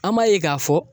An b'a ye k'a fɔ